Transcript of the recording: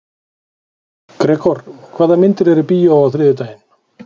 Gregor, hvaða myndir eru í bíó á þriðjudaginn?